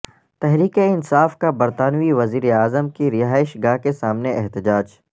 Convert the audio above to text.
تحریک انصاف کا برطانوی وزیراعظم کی رہائش گاہ کےسامنے احتجاج